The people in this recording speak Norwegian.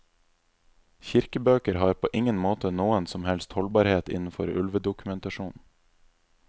Kirkebøker har på ingen måte noen som helst holdbarhet innenfor ulvedokumentasjon.